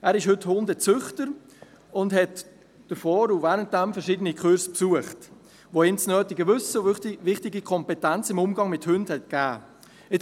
Er ist heute Hundezüchter, und hat zuvor und währenddem verschiedene Kurse besucht, die ihm das nötige Wissen und wichtige Kompetenzen im Umgang mit Hunden gegeben haben.